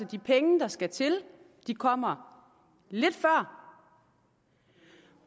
de penge der skal til kommer lidt før